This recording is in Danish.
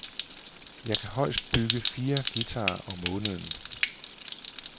Jeg kan højst bygge fire guitarer om måneden.